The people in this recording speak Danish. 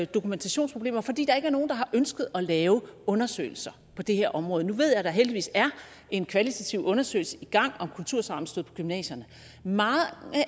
dokumentationsproblemer fordi der ikke er nogen der har ønsket at lave undersøgelser på det her område nu ved jeg at der heldigvis er en kvalitativ undersøgelse i gang om kultursammenstød på gymnasierne mange